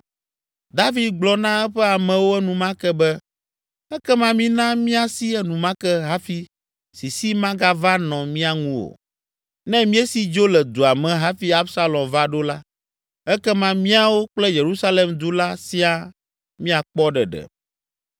David gblɔ na eƒe amewo enumake be, “Ekema mina míasi enumake hafi sisi magava nɔ mía ŋu o. Ne míesi dzo le dua me hafi Absalom va ɖo la, ekema míawo kple Yerusalem du la siaa míakpɔ ɖeɖe.”